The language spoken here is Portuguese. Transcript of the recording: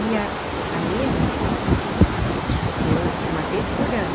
Ia à Minas uma vez por ano.